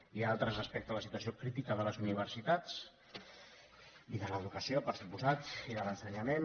n’hi ha altres respecte a la situació crítica de les uni·versitats i de l’educació per descomptat i de l’ense·nyament